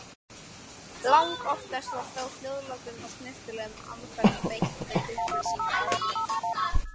Langoftast var þó hljóðlátum og snyrtilegum aðferðum beitt við upplýsingaöflun.